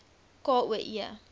k o e